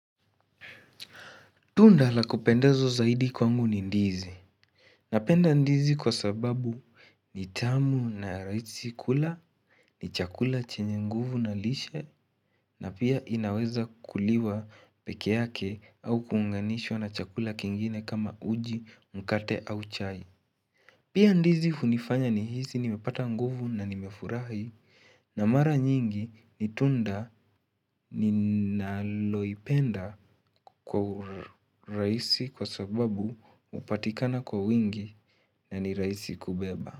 Tunda la kupendezwa zaidi kwangu ni ndizi Napenda ndizi kwa sababu ni tamu na rahisi kula ni chakula chenye nguvu na lishe na pia inaweza kuliwa peke yake au kuunganishwa na chakula kingine kama uji mkate au chai Pia ndizi hunifanya nihisi nimepata nguvu na nimefurahi na mara nyingi ni tunda ninaloipenda kwa urahisi kwa sababu hupatikana kwa wingi na ni rahisi kubeba.